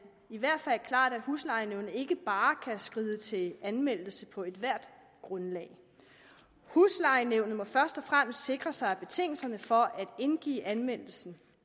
i hvert fald klart at huslejenævnet ikke bare kan skride til anmeldelse på ethvert grundlag huslejenævnet må først og fremmest sikre sig at betingelserne for at indgive anmeldelsen